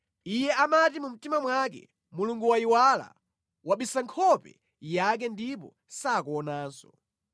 Iye amati mu mtima mwake, “Mulungu wayiwala, wabisa nkhope yake ndipo sakuonanso.”